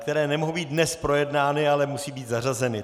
Které nemohou být dnes projednány, ale musí být zařazeny.